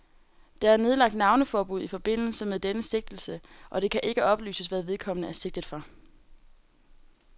Der er nedlagt navneforbud i forbindelse med denne sigtelse, og det kan ikke oplyses, hvad vedkommende er sigtet for.